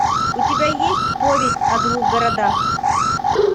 у тебя есть повесть о двух городах